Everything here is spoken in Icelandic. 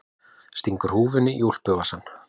Stingur húfunni í úlpuvasann.